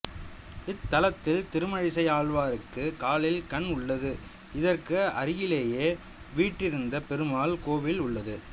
இத்தலத்தில் திருமழிசை ஆழ்வாருக்கு காலில் கண் உள்ளது இதற்கு அருகிலேயே வீற்றிருந்த பெருமாள் கோவில் உள்ளது